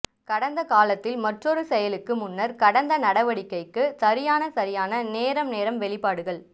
கடந்த காலத்தில் மற்றொரு செயலுக்கு முன்னர் கடந்த நடவடிக்கைக்கு சரியான சரியான நேரம் நேரம் வெளிப்பாடுகள்